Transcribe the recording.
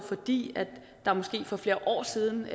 fordi der måske for flere år siden